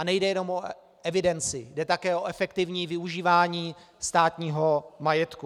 A nejde jenom o evidenci, jde také o efektivní využívání státního majetku.